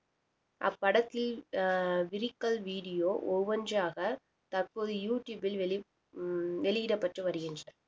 அப்படத்தில் ah lyrical video ஒவ்வொன்றாக தற்போது யூ டுயூபில் வெளி~ வெளியிடப்பட்டு வருகின்றன